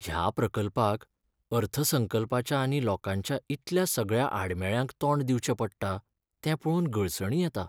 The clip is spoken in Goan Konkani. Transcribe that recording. ह्या प्रकल्पाक अर्थसंकल्पाच्या आनी लोंकाच्या इतल्या सगळ्या आडमेळ्यांक तोंड दिवचें पडटा तें पळोवन गळसणी येता.